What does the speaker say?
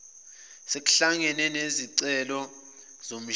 sekuhlangene nezishicilelo zomshini